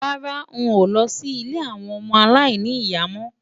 Rárá, n ò lọ sí ilé àwọn ọmọ aláìní ìyá mọ́.